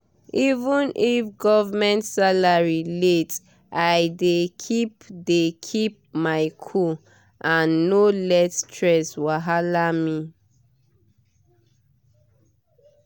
even if government salary late i dey keep dey keep my cool and no let stress wahala me